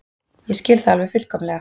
Ég skil það alveg fullkomlega.